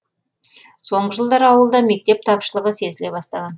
соңғы жылдары ауылда мектеп тапшылығы сезіле бастаған